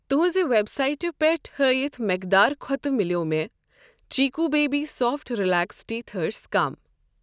تُُہنٛزِ web سایٹہٕ پٮ۪ٹھ ہٲیِتھ مٮ۪قدار کھۄتہٕ مِلٮ۪و مےٚ Chicco baby soft relax teethers کم۔